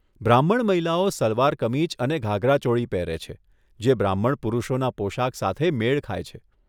બ્રાહ્મણ મહિલાઓ સલવાર કમીઝ અને ઘાઘરા ચોળી પહેરે છે, જે બ્રાહ્મણ પુરુષોના પોશાક સાથે મેળ ખાય છે.